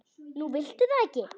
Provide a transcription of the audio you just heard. Nú viltu það ekki?